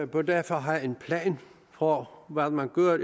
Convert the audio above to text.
bør derfor have en plan for hvad man gør